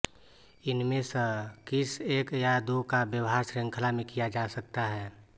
इनमें स किस एक या दो का व्यवहार श्रृंखला में किया जा सकता है